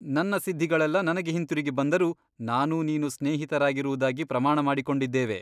ನನ್ನ ಸಿದ್ಧಿಗಳೆಲ್ಲ ನನಗೆ ಹಿಂತಿರುಗಿ ಬಂದರೂ ನಾನೂ ನೀನೂ ಸ್ನೇಹಿತರಾಗಿರುವುದಾಗಿ ಪ್ರಮಾಣ ಮಾಡಿಕೊಂಡಿದ್ದೇವೆ.